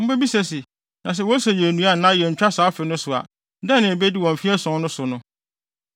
Mubebisa se, “Na sɛ wose yennnua anaa yenntwa saa afe no so a, dɛn na yebedi wɔ mfe ason no so no?”